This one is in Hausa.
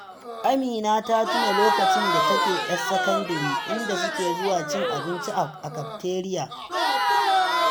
Amina ta tuna lokacin da take 'yar sakandire, inda suke zuwa cin abinci a kafteriya